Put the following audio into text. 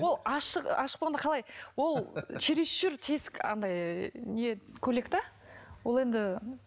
ол ашық ашық болғанда қалай ол через чур тесік анандай не көйлек те ол енді